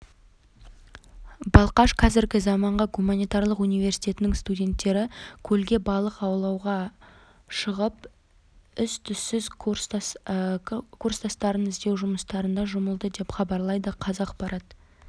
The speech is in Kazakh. балқаш қазіргі заманғы гуманитарлық университетінің студенттері көлге балық аулауға шығып із-түзсіз кеткен курстастарын іздеу жұмыстарына жұмылды деп хабарлайды қазақпарат